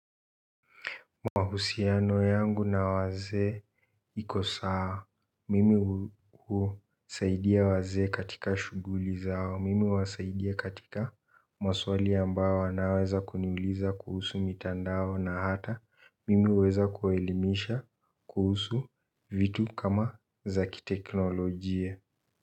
Mahusiano yangu na wazee iko. Sawa mimi husaidia wazee katika shuguli zao mimi huwasaidia katika maswali ambayo wanaweza kuniuliza kuhusu mitandao na hata mimi huweza kuwaelimisha kuhusu vitu kama za kiteknolojia.